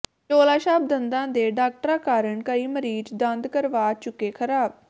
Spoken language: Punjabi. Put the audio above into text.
ਝੋਲਾਛਾਪ ਦੰਦਾਂ ਦੇ ਡਾਕਟਰਾਂ ਕਾਰਨ ਕਈ ਮਰੀਜ਼ ਦੰਦ ਕਰਵਾ ਚੁੱਕੇ ਖ਼ਰਾਬ